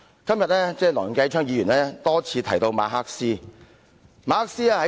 今天梁繼昌議員多次提到哲學家馬克思。